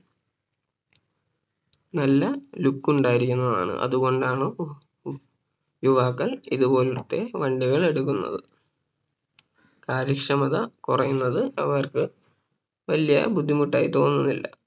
നല്ല look ഉണ്ടായിരിക്കുന്നതാണ് അതുകൊണ്ടാണ് യുവാക്കൾ ഇതുപോലത്തെ വണ്ടികൾ എടുക്കുന്നത് കാര്യക്ഷമത കുറയുന്നത് അവർക്ക് വല്യ ബുദ്ധിമുട്ട് ആയി തോന്നുന്നില്ല